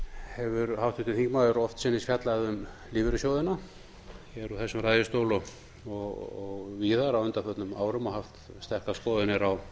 hefur háttvirtur þingmaður oftsinnis fjallað um lífeyrissjóðina úr þessum ræðustóli og víðar á undanförnum árum og haft sterkar skoðanir á